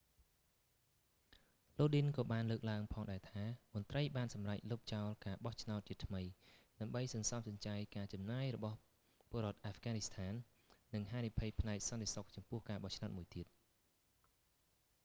lodin ក៏បានលើកឡើងផងដែរថា មន្រ្តីបានសម្រេចលុបចោលការបោះឆ្នោតជាថ្មី ដើម្បីសន្សំសំចៃការចំណាយរបស់ពលរដ្ឋអាហ្វហ្គានីស្ថាន និងហានិភ័យផ្នែកសន្តិសុខចំពោះការបោះឆ្នោតមួយទៀត